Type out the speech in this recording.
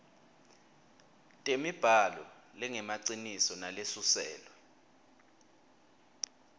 temibhalo lengemaciniso nalesuselwe